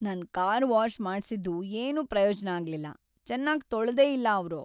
ನನ್ car wash ಮಾಡ್ಸಿದ್ದು ಏನೂ ಪ್ರಯೋಜ್ನ ಆಗ್ಲಿಲ್ಲ. ಚೆನಾಗ್‌ ತೊಳ್ದೇ ಇಲ್ಲ ಅವ್ರು.